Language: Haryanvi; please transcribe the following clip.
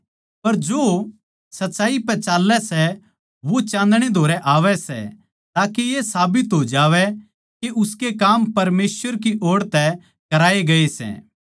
पर जो सच्चाई पै चाल्लै सै वो चान्दणै कै धोरै आवै सै ताके ये साबित हो जावै के उसके काम परमेसवर की ओड़ तै कराये गये सै